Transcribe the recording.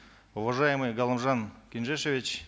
уважаемый галымжан кенжешевич